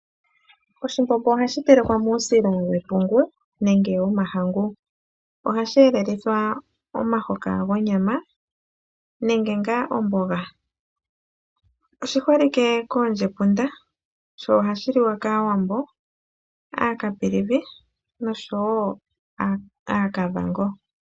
Oshimbombo ohashi telekwa muusila wepungu nenge womahangu, ohashi elelithwa nee omuhoka gonyama nenge gomboga. Oshili shi holike koondjepunda noshili shasimanekwa konyala komihoko odhindji ngaashi: gwaandonga, gwaaCaprivi nosho woo omihoko odhindji.